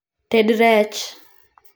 Ted rech